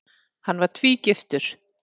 Hann var tvígiftur.